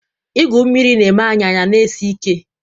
Igwu mmiri na-eme anyị anyị a na-esi ike.